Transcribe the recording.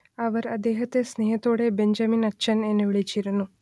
അവർ അദ്ദേഹത്തെ സ്നേഹത്തോടെ ബെഞ്ചമിനച്ചൻ എന്ന് വിളിച്ചിരുന്നു